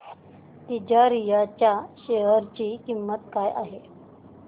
तिजारिया च्या शेअर ची किंमत काय आहे